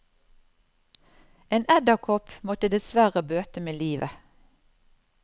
En edderkopp måtte dessverre bøte med livet.